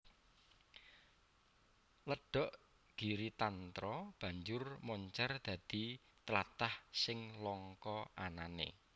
Ledhok Giritantra banjur moncèr dadi tlatah sing langka anané